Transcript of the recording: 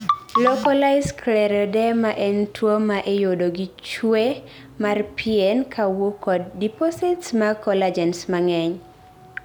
Localised scleroderma en tuo maa iyudo gi chue mar pien kawuok kod deposits mag collagens mang'eny